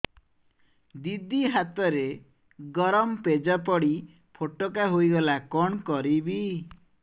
ଦିଦି ହାତରେ ଗରମ ପେଜ ପଡି ଫୋଟକା ହୋଇଗଲା କଣ କରିବି